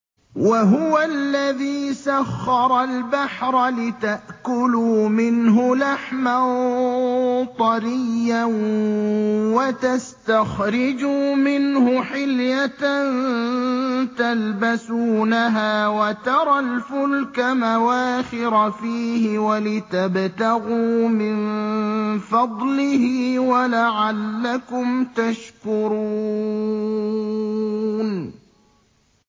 وَهُوَ الَّذِي سَخَّرَ الْبَحْرَ لِتَأْكُلُوا مِنْهُ لَحْمًا طَرِيًّا وَتَسْتَخْرِجُوا مِنْهُ حِلْيَةً تَلْبَسُونَهَا وَتَرَى الْفُلْكَ مَوَاخِرَ فِيهِ وَلِتَبْتَغُوا مِن فَضْلِهِ وَلَعَلَّكُمْ تَشْكُرُونَ